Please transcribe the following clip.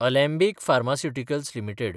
Alembic pharmaceuticals limited